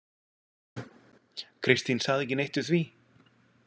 Kristín sagði ekki neitt við því.